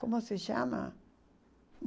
Como se chama?